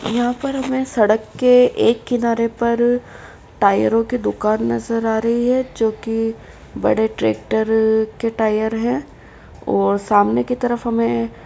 यहाँ पर हमें सड़क के एक किनारे पर टायरों की दुकान नज़र आ रही है जोकि बड़े ट्रैक्टर के टायर है और सामने की तरफ हमें --